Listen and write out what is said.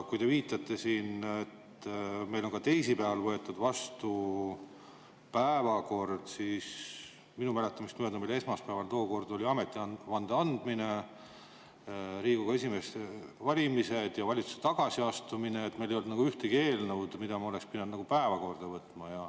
Kui te viitasite siin, et meil on ka teisipäeval võetud päevakorda vastu, siis minu mäletamist mööda meil oli esmaspäeval tookord ametivande andmine, Riigikogu esimehe valimised ja valitsuse tagasiastumine, meil ei olnud ühtegi eelnõu, mida me oleks pidanud päevakorda võtma.